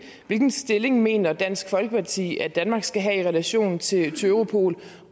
hvilken stilling mener dansk folkeparti at danmark skal have i relation til europol